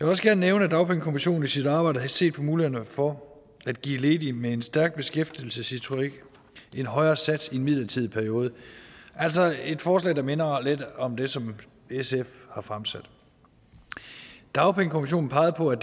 også gerne nævne at dagpengekommissionen i sit arbejde har set på mulighederne for at give ledige med en stærk beskæftigelseshistorik en højere sats i en midlertidig periode altså et forslag der minder lidt om det som sf har fremsat dagpengekommissionen pegede på at